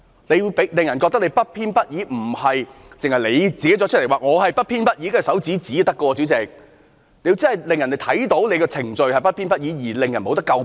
你要令人覺得你不偏不倚，不僅是你說自己不偏不倚便可以，代理主席，你要真的令人看到你的程序是不偏不倚，不能令人詬病。